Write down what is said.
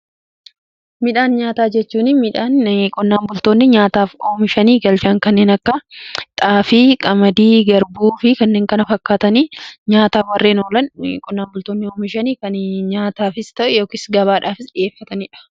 Midhaan nyaataa jechuun midhaan qonnaan bultoonni nyaataaf oomishanii galchan kanneen akka xaafii, qamadii, garbuu fi kanneen kana fakkaatanii; nyaataaf warreen oolan qonnaan bultoonni oomishanii kan nyaataafis ta'e yookis gabaadhaafis dhi'eeffataniidha.